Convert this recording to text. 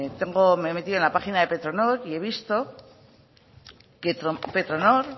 me he metido en la página de petronor y he visto petronor